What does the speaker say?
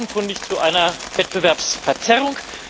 Das führt offenkundig zu einer Wettbewerbsverzerrung.